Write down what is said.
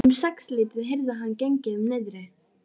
Um sexleytið heyrði hann gengið um niðri.